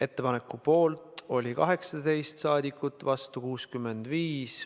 Ettepaneku poolt oli 18 saadikut, vastu 65.